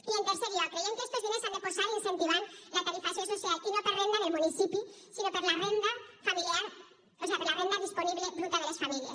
i en tercer lloc creiem que estos diners s’han de posar incentivant la tarifació social i no per renda del municipi sinó per la renda disponible bruta de les famílies